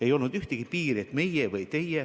Ei olnud ühtegi piiri, et meie või teie.